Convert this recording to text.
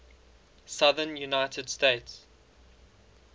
southern united states